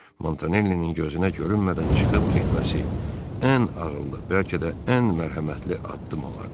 Montanellinin gözünə görünmədən çıxıb getməsi ən ağıllı, bəlkə də ən mərhəmətli addım olardı.